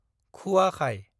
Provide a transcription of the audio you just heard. खुवाखाय